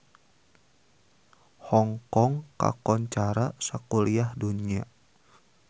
Hong Kong kakoncara sakuliah dunya